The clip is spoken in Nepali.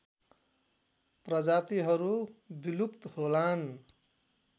प्रजातिहरू विलुप्त होलान्